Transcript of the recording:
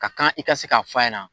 Ka kan i ka se k'a fɔ yɛna